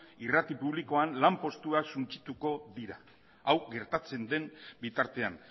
irrati publikoan lanpostuak suntsituko dira hau gertatzen den bitartean